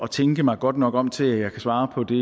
tænke mig godt nok om til at jeg kan svare på det